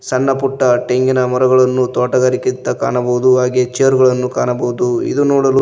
ಸಣ್ಣ ಪುಟ್ಟ ಟೆಂಗಿನ ಮರಗಳನ್ನು ತೋಟಗಾರಿ ಕಿತ್ತ ಕಾಣಬಹುದು ಹಾಗೆ ಚೇರ್ಗಳನ್ನು ಕಾಣಬಹುದು ಇದು ನೋಡಲು--